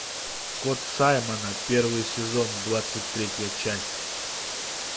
кот саймона первый сезон двадцать третья часть